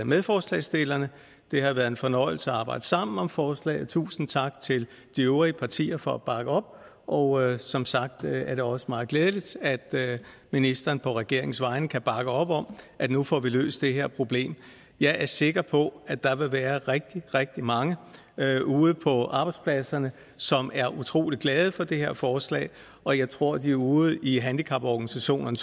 medforslagsstillerne det har været en fornøjelse at arbejde sammen om forslaget tusind tak til de øvrige partier for at bakke op og som sagt er det også meget glædeligt at ministeren på regeringens vegne kan bakke op om at vi nu får løst det her problem jeg er sikker på at der vil være rigtig rigtig mange ude på arbejdspladserne som er utrolig glade for det her forslag og jeg tror at de ude i handicaporganisationerne